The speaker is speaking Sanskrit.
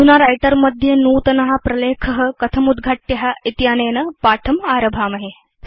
अधुना Writerमध्ये नूतन प्रलेख कथम् उद्घाट्य इत्यनेन पाठम् आरभामहे